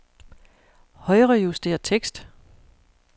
Højrejuster tekst.